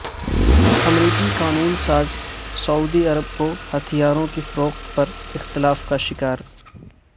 امریکی قانون ساز سعودی عرب کو ہتھیاروں کی فروخت پر اختلافات کا شکار